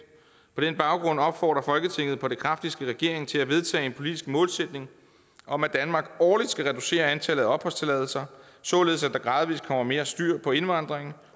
på den baggrund opfordrer folketinget på det kraftigste regeringen til at vedtage en politisk målsætning om at danmark årligt skal reducere antallet af opholdstilladelser således at der gradvist kommer mere styr på indvandringen